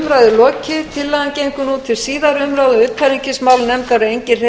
verði tillögunni vísað til síðari umræðu og háttvirtrar utanríkismálanefndar